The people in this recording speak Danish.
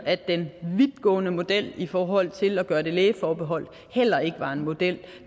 at den vidtgående model i forhold til at gøre det lægeforbeholdt heller ikke var en model